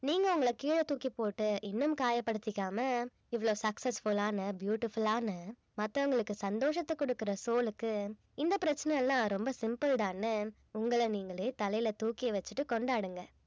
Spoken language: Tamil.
நீங்க உங்கள கீழ தூக்கிப் போட்டு இன்னும் காயப்படுத்திக்காம இவ்வளவு successful ஆன beautiful ஆன மத்தவங்களுக்கு சந்தோஷத்தை கொடுக்கிற soul க்கு இந்த பிரச்சனை எல்லாம் ரொம்ப simple தான்னு உங்கள நீங்களே தலையில தூக்கி வச்சுட்டு கொண்டாடுங்க